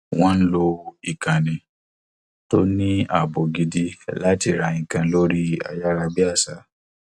wọn lo ikànnì tó ní ààbò gidi láti rà nǹkan lórí ayárabíàṣá